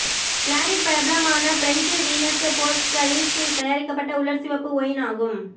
கிளாரிட் பிரபலமான பிரெஞ்ச் வீனஸ் போர்ட்டக்ஸில் தயாரிக்கப்பட்ட உலர் சிவப்பு ஒயின் ஆகும்